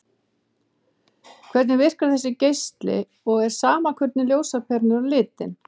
Hvernig virkar þessi geisli og er sama hvernig ljósaperan er á litinn?